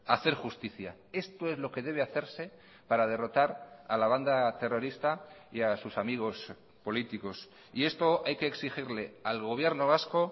hacer justicia esto es lo que debe hacerse para derrotar a la banda terrorista y a sus amigos políticos y esto hay que exigirle al gobierno vasco